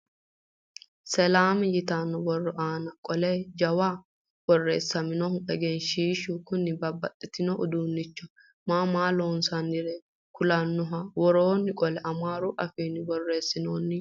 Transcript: Selam yitanno borro aana qolle jawuyi borreessinoyihu egensiishshu Kuni babbaxitino uduunicho maa maa loonsaniri kulannoho. Woroo qolle amaaru afiinni borreessinoyi.